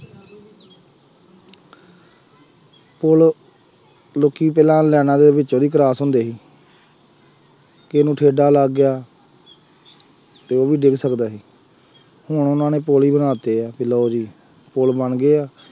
ਪੁੱਲ ਲੋਕੀ ਪਹਿਲਾਂ ਲਾਈਨਾਂ ਦੇ ਵਿੱਚੋਂ ਦੀ cross ਹੁੰਦੇ ਸੀ, ਕਿਸੇ ਨੂੰ ਠੇਡਾ ਲੱਗ ਗਿਆ, ਅਤੇ ਉਹ ਵੀ ਡਿੱਗ ਸਕਦਾ ਸੀ, ਹੁਣ ਉਹਨਾ ਨੇ ਪੁੱਲ ਹੀ ਬਣਾ ਦਿੱਤੇ ਆ ਕਿ ਲਉ ਜੀ ਪੁੱਲ ਬਣ ਗਏ ਆ,